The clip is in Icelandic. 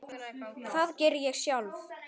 Það geri ég sjálf.